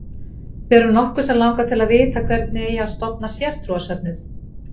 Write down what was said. Við erum nokkur sem langar til að vita hvernig eigi að stofna sértrúarsöfnuð?